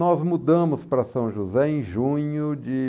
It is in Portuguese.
Nós mudamos para São José em junho de